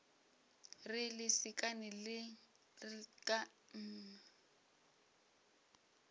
re lesekana la mme mme